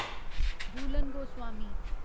Jhulan Goswami